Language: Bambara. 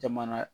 Jamana